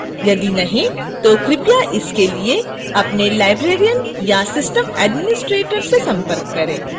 यदि नहीं तो कृपया इसके लिए अपने librarian या system administrator से संपर्क करें